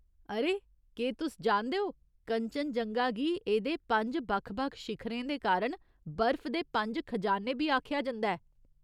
अरे, केह् तुस जानदे ओ कंचनजंगा गी एह्दे पंज बक्ख बक्ख शिखरें दे कारण बरफ दे पंज खजाने बी आखेआ जंदा ऐ ?